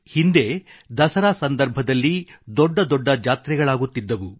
ಹಿಂದೆ ದಸರಾ ಸಂದರ್ಭದಲ್ಲಿ ದೊಡ್ಡ ದೊಡ್ಡ ಜಾತ್ರೆಗಳಾಗುತ್ತಿದ್ದವು